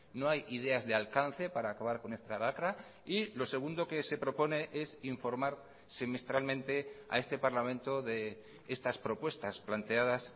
no hay ideas de alcance para acabar con esta lacra y lo segundo que se propone es informar semestralmente a este parlamento de estas propuestas planteadas